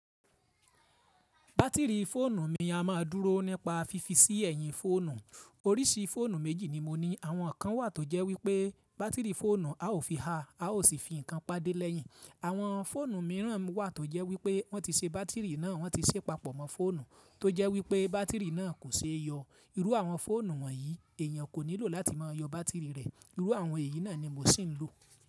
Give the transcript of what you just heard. Bátìrì fóònù mi a máa dúró nípa fífi sí ẹ̀yìn fóònù. Oríṣi fóònù méjì ni mo ní àwọn kan wà tó jẹ́ wípé bátìrì fóònù a ó fi ha a ó sì fi ǹnkan padà lẹ́yìn. Àwọn fóònù míràn wà tó jẹ́ wípé wọ́n ti se bátìrì náà wọ́n ti sé e papọ̀ mọ́ fóònù tó jẹ́ wípé bátìrì náà kò ṣe é yọ. Irú àwọn fóònù wọ̀nyí èèyàn kò nílò láti máa yọ bátìrì rẹ̀. Irú àwọn èyí náà ni mo sì ń lò.